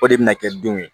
O de bɛna kɛ denw ye